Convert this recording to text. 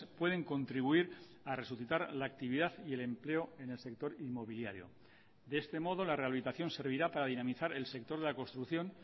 pueden contribuir a resucitar la actividad y el empleo en el sector inmobiliario de este modo la rehabilitación servirá para dinamizar el sector de la construcción